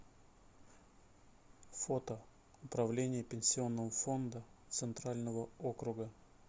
фото управление пенсионного фонда центрального округа